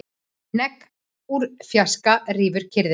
Hnegg úr fjarska rýfur kyrrðina.